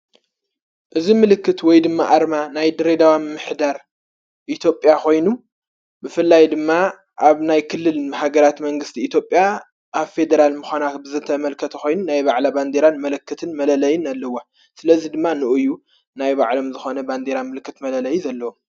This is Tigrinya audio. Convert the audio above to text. እዝ ምልክት ወይ ድማ ኣርማ ናይ ድሬዳዋ ምኅዳር ኢትዮጵያ ኾይኑ ብፍላይ ድማ ኣብ ናይ ክልል ሃገራት መንግሥቲ ኢትዮጵያ ኣብ ፌዴራል ምዃናኽ ብዘተ መልከተ ኾይኑ ናይ ባዕላ ባንዴራን መለክትን መለለይን ኣልዋ ስለዙይ ድማ ንኡዩ ናይ ባዕሎም ዝኾነ ባንዴራ ምልክት መለለይ ዘለዎም ::